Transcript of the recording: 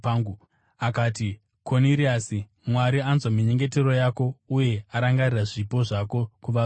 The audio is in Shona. akati, ‘Koniriasi, Mwari anzwa minyengetero yako uye arangarira zvipo zvako kuvarombo.